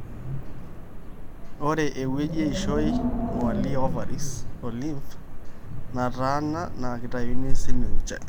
ore eweuji eishoi, ngwali, ovaries o lymph nataana na kitayuni sininche.